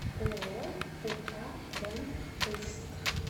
ооо ук рэмп ужск